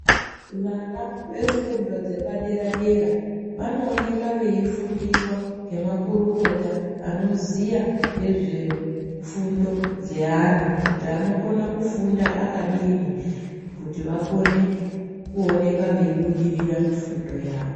Vana vefundo dzepadera-dera vanooneka veifundiswa ngemakurukota anoziya ngezvefundo dzeana. Kuti anokona kufunda akadini kuti vakone kuoneka veibudirira mufundo yavo.